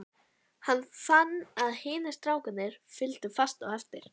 Hann fann að hinir strákarnir fylgdu fast á eftir.